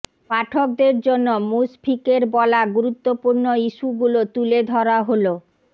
পাঠকদের জন্য মুশফিকের বলা গুরুত্বপূর্ণ ইস্যুগুলো তুলে ধরা হলো